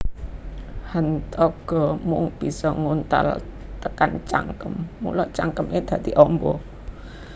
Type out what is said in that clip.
Hantaga mung bisa nguntal tekan cangkem mula cangkeme dadi amba